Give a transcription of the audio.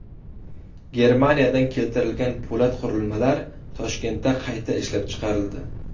Germaniyadan keltirilgan po‘lat qurilmalar Toshkentda qayta ishlab chiqarildi.